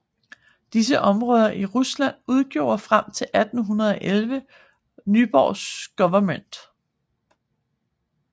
Disse områder i Rusland udgjorde frem til 1811 Vyborgs guvernement